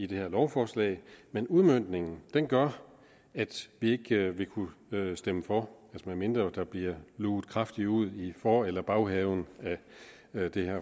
det her lovforslag men udmøntningen gør at vi ikke vil kunne stemme for medmindre der bliver luget kraftigt ud i for eller baghaven af det